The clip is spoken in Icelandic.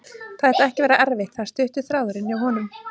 Það ætti ekki að vera erfitt, það er stuttur þráðurinn hjá honum.